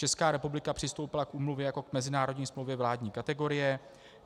Česká republika přistoupila k úmluvě jako k mezinárodní smlouvě vládní kategorie.